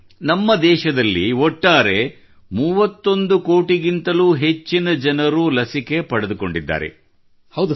ನಮ್ಮ ಸಂಪೂರ್ಣ ದೇಶದಲ್ಲಿ 31 ಕೋಟಿಗಿಂತಲೂ ಹೆಚ್ಚಿನ ಜನರು ಲಸಿಕೆಯ ಚುಚ್ಚುಮದ್ದು ಪಡೆದುಕೊಂಡಿದ್ದಾರೆ